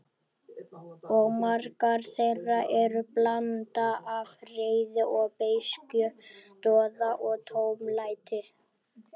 Og margar þeirra eru blanda af reiði og beiskju, doða og tómlæti.